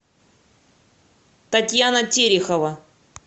татьяна терехова